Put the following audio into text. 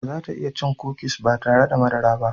Ba za ta iya cin kukis ba tare da madara ba.